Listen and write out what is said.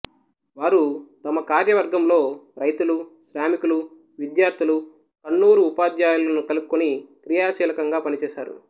వారు తమ కార్యవర్గంలో రైతులు శ్రామికులు విద్యార్థులు కన్నూరు ఉపాధ్యాయులను కలుపుకుని క్రియాశీలకంగా పనిచేసారు